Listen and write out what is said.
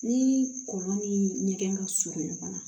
Ni kɔlɔn ni ɲɛgɛn ka surun ɲɔgɔn na